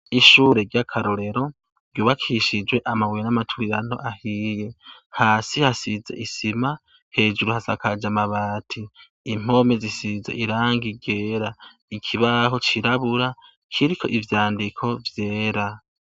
Ishure ry'akarorero ryubakishijwe amabuye y'amaturirano ahiye. Hasi hasize isima, hejuru hasakaje amabati. Impome zisize irangi ryera. Ikibaho cirabura, kiriko ivyandiko vyera.